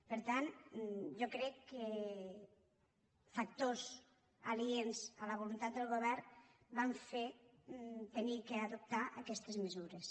per tant jo crec que factors aliens a la voluntat del govern van fer haver d’adoptar aquestes mesures